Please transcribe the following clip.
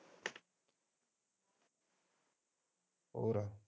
ਹੋਰ